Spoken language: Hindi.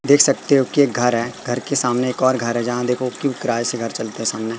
देख सकते हो के एक घर है घर के सामने एक और घर है जहां देखो क्यों किराए से घर चलते है सामने।